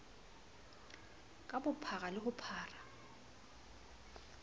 ka bophara le ho bopa